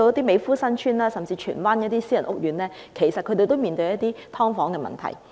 美孚新邨，甚至荃灣的一些私人屋苑，其實亦正面對"劏房"問題。